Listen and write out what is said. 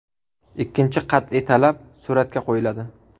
Ikkinchi qat’iy talab suratga qo‘yiladi.